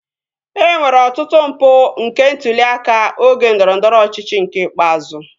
E nwere ọtụtụ mpụ nke ntụli aka oge ndọrọndọrọ ọchịchị nke ikpeazụ